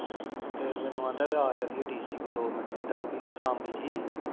ਤੇ ਮੈਂਨੂੰ ਐਂਦਾ ਆ ਚੱਲੀਏ ਡੀਸੀ ਕੋਲ ਦੋ ਮਿੰਟ ਜਿਦਾਂ ਵੀ ਸਾਮੀ ਜਹੀ